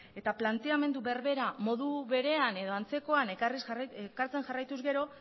eta planteamendu berbera modu berean edo antzekoan ekartzen jarraituz gero